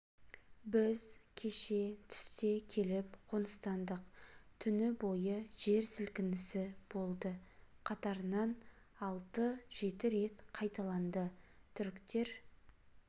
біз кеше түсте келіп қоныстандық түні бойы жер сілкінісі болды қатарынан алты жеті рет қайталанды түріктер